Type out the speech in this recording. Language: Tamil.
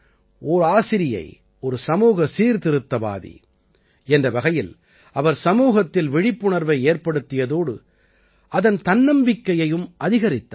ஓர் ஆசிரியை ஒரு சமூக சீர்திருத்தவாதி என்ற வகையில் அவர் சமூகத்தில் விழிப்புணர்வை ஏற்படுத்தியதோடு அதன் தன்னம்பிக்கையையும் அதிகரித்தார்